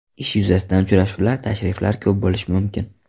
Ish yuzasidan uchrashuvlar, tashriflar ko‘p bo‘lishi mumkin.